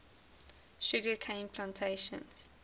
sugar cane plantations